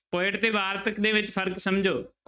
Poet ਤੇ ਵਾਰਤਕ ਦੇ ਵਿੱਚ ਫ਼ਰਕ ਸਮਝੋ।